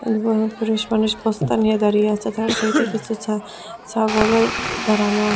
উবুর হয়ে পুরুষ মানুষ বস্তা নিয়ে দাঁড়িয়ে আছে তাঁর সাইড -এ কিছু ছা ছাগলও দাঁড়ানো আ --